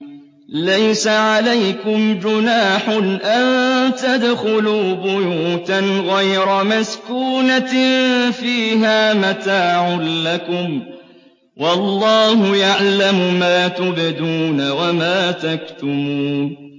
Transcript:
لَّيْسَ عَلَيْكُمْ جُنَاحٌ أَن تَدْخُلُوا بُيُوتًا غَيْرَ مَسْكُونَةٍ فِيهَا مَتَاعٌ لَّكُمْ ۚ وَاللَّهُ يَعْلَمُ مَا تُبْدُونَ وَمَا تَكْتُمُونَ